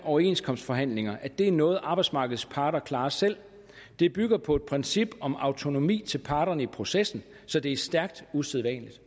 overenskomstforhandlinger er noget arbejdsmarkedets parter klarer selv det bygger på et princip om autonomi til parterne i processen så det er stærkt usædvanligt